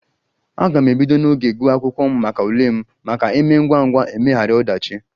A ga m ebido n'oge guwa akwụkwọ maka ule m maka emee ngwangwa emeghara odachi